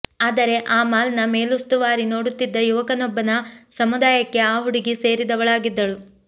ಆದರೆ ಆ ಮಾಲ್ನ ಮೇಲುಸ್ತುವಾರಿ ನೋಡುತ್ತಿದ್ದ ಯುವಕನೊಬ್ಬನ ಸಮುದಾಯಕ್ಕೆ ಆ ಹುಡುಗಿ ಸೇರಿದವಳಾಗಿದ್ದಳು